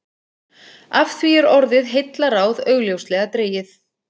Af því er orðið heillaráð augljóslega dregið.